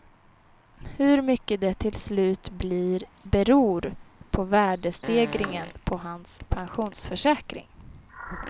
Hur mycket det till slut blir beror på värdestegringen på hans pensionsförsäkring.